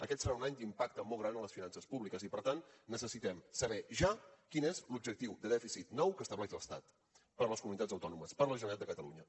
aquest serà un any d’impacte molt gran en les finances públiques i per tant necessitem saber ja quin és l’objectiu de dèficit nou que estableix l’estat per a les comunitats autònomes per a la generalitat de catalunya